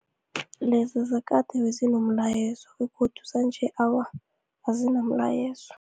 Leza zakade bezinomlayezo begodu zanje, awa, azinamlayezo.